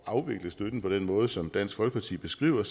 afvikle støtten på den måde som dansk folkeparti beskriver